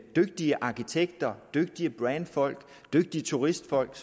dygtige arkitekter dygtige brandingfolk dygtige turistfolk